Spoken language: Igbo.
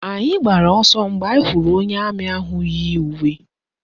Anyị gbara ọsọ mgbe anyị hụrụ onye amị ahụ yi uwe.